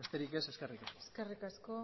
besterik ez eskerrik asko eskerrik asko